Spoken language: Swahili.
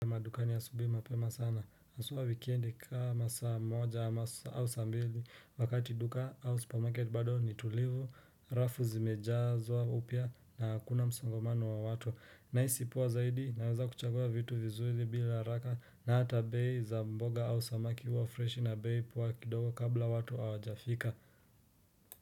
Madukani ya asubuhi mapema sana aswa wikiendi kama saa moja ama saa mbili wakati duka au supermarket bado ni tulivu rafu zimejazwa upya na hakuna msongomano wa watu nahisi poa zaidi naweza kuchagua vitu vizuri bila haraka na hata bei za mboga au samaki huwa fresh na bei poa kidogo kabla watu hawajafika.